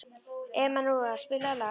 Emanúela, spilaðu lag.